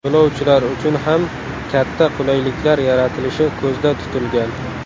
Yo‘lovchilar uchun ham katta qulayliklar yaratilishi ko‘zda tutilgan.